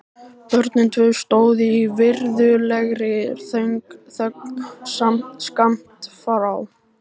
Börnin tvö stóðu í virðulegri þögn skammt frá.